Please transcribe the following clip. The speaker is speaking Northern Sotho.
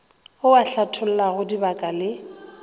ao a hlathollago dibaka le